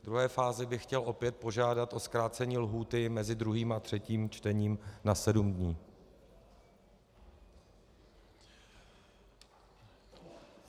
Ve druhé fázi bych chtěl opět požádat o zkrácení lhůty mezi druhým a třetím čtením na sedm dní.